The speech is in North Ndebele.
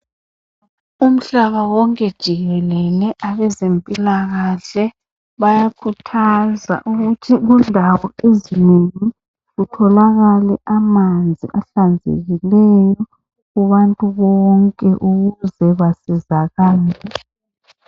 Umhlaba wonke jikelele, abezempilakahle, bayakhuthaza ukuthi kundawo ezinengi kutholakale amanzi ahlanzekileyo kubantu bonke ukuze basizakale.